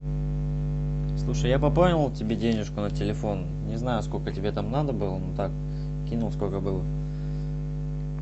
слушай я пополнил тебе денежку на телефон не знаю сколько тебе там надо было ну так кинул сколько было